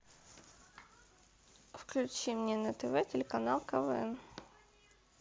включи мне на тв телеканал квн